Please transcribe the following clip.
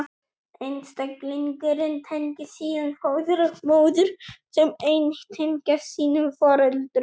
Einstaklingurinn tengist síðan föður og móður, sem einnig tengjast sínum foreldrum.